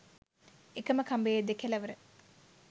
එකම කඹයේ දෙකෙලවර